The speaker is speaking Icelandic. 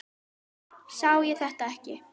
Sá ég þetta ekki?